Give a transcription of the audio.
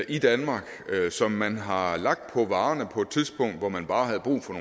i danmark som man har lagt på varerne på et tidspunkt hvor man bare havde brug for